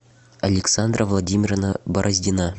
александра владимировна бороздина